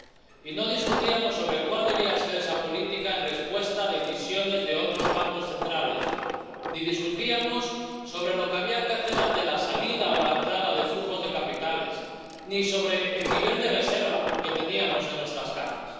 Y no discutíamos sobre cuál debía ser esa política en respuesta a decisiones de otros bancos centrales, ni discutíamos sobre lo que había que hacer ante la salida o la entrada de flujos de capitales, ni sobre el nivel de reserva que teníamos en nuestras cajas.